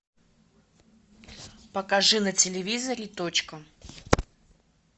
покажи на телевизоре точка